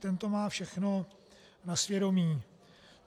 Ten to má všechno na svědomí.